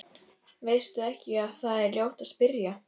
Veistu ekki að það er ljótt að spyrja?